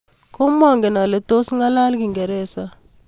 Komangen ale tos ng'alal Kingereza